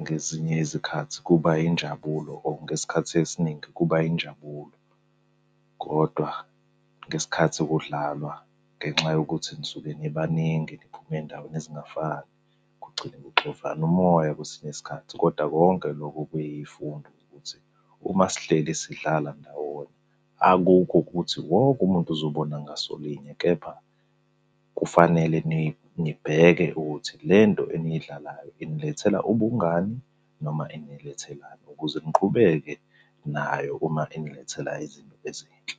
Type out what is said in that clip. Ngezinye izikhathi kuba yinjabulo or ngesikhathi esiningi kuba yinjabulo, kodwa ngesikhathi kudlalwa, ngenxa yokuthi nisuke nibaningi niphume ey'ndaweni ezingafani, kugcine kuxovana umoya kwesinye isikhathi, kodwa konke lokhu kuyifundo ukuthi, uma sihleli sidlala ndawonye akukho ukuthi wonke umuntu uzobona ngasolinye, kepha kufanele nibheke ukuthi le nto eniyidlalayo inilethela ubungani noma inilethelani? Ukuze niqhubeke nayo uma inilethela izinto ezinhle.